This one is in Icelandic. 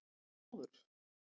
Þormóður